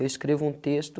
Eu escrevo um texto,